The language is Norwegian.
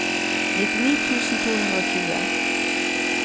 nittini tusen to hundre og tjue